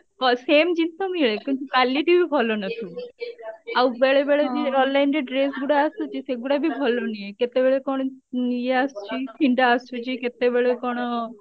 same ଜିନିଷ ମିଳେ କିନ୍ତୁ quality ବି ଭଲ ନଥିବ ଆଉ ବେଳେ ବେଳେ ବି online ରେ dress ଗୁଡା ଆସୁଛି ସେଗୁଡା ବି ଭଲ ନୁହେଁ କେତେବେଳେ କଣ ଇଏ ଆସୁଛି ଛିଣ୍ଡା ଆସୁଛି କେତେବେଳେ କଣ